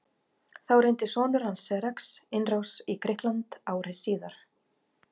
Þá reyndi sonur hans Xerxes innrás í Grikkland ári síðar.